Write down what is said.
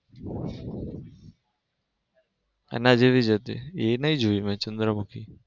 એના જેવી જ હતી એ નઈ જોઈ મેં ચંદ્રમુખી.